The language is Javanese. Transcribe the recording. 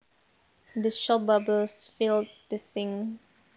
The soap bubbles filled the sink